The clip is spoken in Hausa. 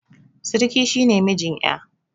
Siriki shi ne mijin ƴa